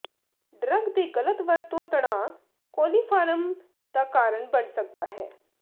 drug ਦੇ ਗ਼ਲਤ ਵਰਤੋ ਤਣਾਅ ਕੋਲੀਫਾਰਮ ਦਾ ਕਾਰਨ ਬਣ ਸਕਦਾ ਹੈ